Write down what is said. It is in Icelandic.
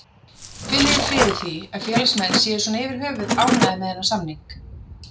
Finnurðu fyrir því að félagsmenn séu svona yfir höfuð ánægðir með þennan samning?